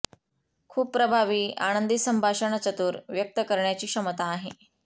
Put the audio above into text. खूप प्रभावी आनंदी संभाषणचतुर व्यक्त करण्याची क्षमता आहे